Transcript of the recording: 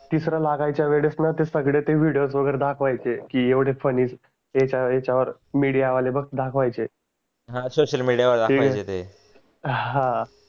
तिसरं लगायच्या वेडेस न ते सगडे ते विडिओस वागेरे दाखवायाचे की येवाडे याच्या याच्या वर मीडिया वाले बहग दाखवयाचे हा सोशल मीडिया वर दाखवायचे ते हा